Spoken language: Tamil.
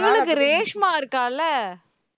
இவளுக்கு ரேஷ்மா இருக்கால